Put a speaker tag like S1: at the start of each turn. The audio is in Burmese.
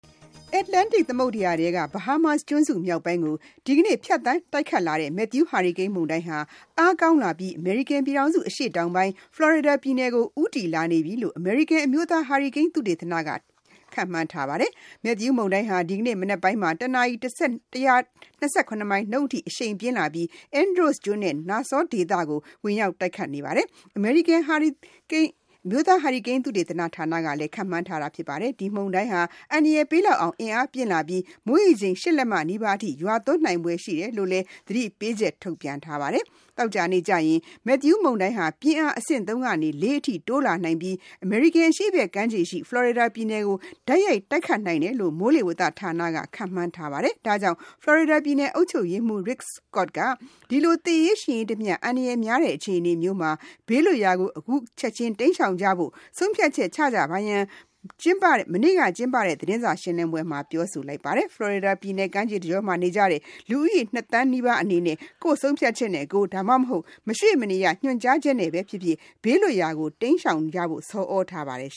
S1: Atlantic သမုဒ္ဒရာထဲက Bahamas ကျွန်းစုမြောက်ပိုင်းကို ဒီနေ့ ဖြတ်သန်းတိုက်ခတ်လာတဲ့ Matthew Hurricane မုန်တိုင်းဟာ အားကောင်းလာပြီး အမေရိကန်ပြည်ထောင်စုအရှေ့တောင်ပိုင်း Florida ပြည်နယ်ကို ဦးတည်လာနေပြီလို့ မိုးလေဝသပညာရှင်တွေက ခန့်မှန်းနေကြပါတယ်။ Matthew မုန်တိုင်းဟာ ဒီနေ့မနက်ပိုင်းမှာ တနာရီ ၁၂၇ မိုင်နှုန်းအထိအရှိန်ပြင်းလာပြီး Andros ကျွန်းနဲ့ Nassau ဒေသကို ဝင်ရောက်တိုက်ခတ်မယ်လို့ အမေရိကန်အမျိုးသားဟာရီကိန်း သုတေသနဌာနက ပြောပါတယ်။ ဒီမုန်တိုင်းဟာ အန္တရာယ်ပေးလောက်အောင် အင်အားပြင်းလာပြီး မိုးရေချိန် ၈ လက်မနီးပါးအထိရွာသွန်းနိုင်ဖွယ်ရှိတယ်လို့ သတိပေးချက်ထုတ်ပြန်ထားပါတယ်။ သောကြာနေ့ကျရင် Matthew မုန်တိုင်းဟာပြင်းအား အဆင့် ၃ ကနေ ၄ အထိတိုးလာနိုင်ပြီး အမေရိကန် အရှေ့ဘက်ကမ်းခြေရှိ Florida ပြည်နယ်ကိုတိုက်ရိုက်တိုက်ခတ်နိုင်တယ်လို့ မိုးလေဝသဌာနက ခန့်မှန်းထားပါတယ်။ ဒါ့ကြောင့် Florida ပြည်နယ်အုပ်ချုပ်ရေးမှူး Rick Scott က ဒီလိုသေရေးရှင်ရေးတမျှ အန္တရာယ်များတဲ့အခြေအနေမျိုးမှာ ဘေးလွတ်ရာကိုအခုချက်ချင်းတိမ်းရှောင်ကြဖို့ ဆုံးဖြတ်ချက်ချကြပါရန် မနေ့ကကျင်းပတဲ့ သတင်းစာရှင်းလင်းပွဲမှာပြောဆိုလိုက်ပါတယ်။ Florida ပြည်နယ်ကမ်းခြေတကြောမှာနေကြတဲ့ လူဦးရေ ၂ သန်းနီးပါးကို ကိုယ့်ဆုံးဖြတ်ချက်နဲ့ကိုယ် ဒါမှမဟုတ် မရွှေ့မနေရညွှန်ကြားချက်နဲ့ဖြစ်ဖြစ် ဘေးလွတ်ရာကိုတိမ်းရှောင်ကြဖို့ သတိပေးထားပါတယ်။